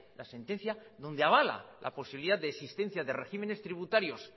la sentencia donde avala la posibilidad de existencia de regímenes tributarios